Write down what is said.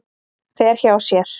Fer hjá sér.